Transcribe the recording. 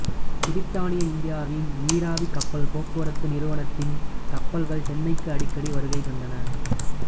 பிரித்தானிய இந்தியாவின் நீராவிக் கப்பல் போக்குவரத்து நிறுவனத்தின் கப்பல்கள் சென்னைக்கு அடிக்கடி வருகை தந்தன